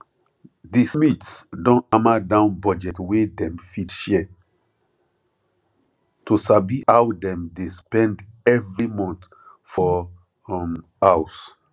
the smiths don hammer down budget wey dem fit share to sabi how how dem dey spend every month for um house